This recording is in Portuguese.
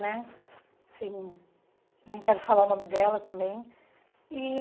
Né assim nem quero falar o nome dela também e